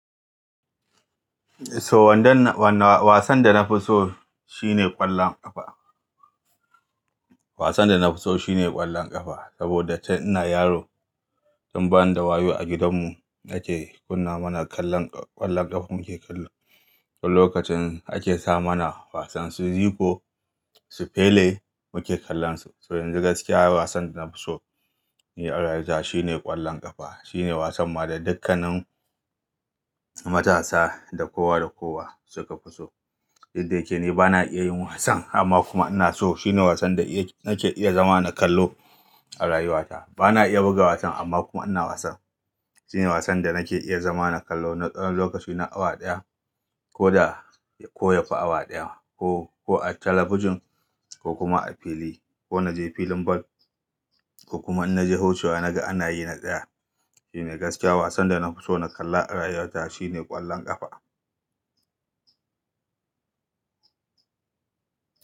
So wanda na-- wanda wasan da na fi so shine ƙwallon ƙafa. Wasan da na fi so shine ƙwallon ƙafa saboda tun ina yaro, tun ba ni da wayo a gidan mu ake kunna mana kallon ƙwallon ƙafa muke kallo. To lokacin ake sa mana wasan su Zico, su Pele muke kallon su. So yanzu gaskiya wasan da na fi so ni a rayuwata shine ƙwallon ƙafa. Shine wasan ma da dukkanin matasa da kowa da kowa suka fi so. Didda yake ni bana iya yin wasan amma kuma ina so. Shine wasan da nake iya zama na kallo a rayuwa ta. Bana iya buga wasan amma kuma ina wasan. Shine wasan da nake iya zama na kallo na tsawon lokaci na awa ɗaya ko da koya fi awa ɗaya ma ko, ko a talabijin ko kuma a fili ko na je filin ball ko kuma in na je wucewa na ga ana yi na tsaya. Shine gaskiya wasan da na fi so na kalla a rayuwa ta shine ƙwallon ƙafa.